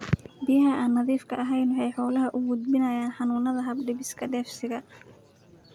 Biyaha aan nadiifka ahayn waxa ay xoolaha u gudbiyaan xanuunada hab-dhiska dheefshiidka.